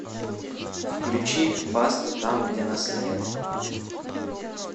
включи баста там где нас нет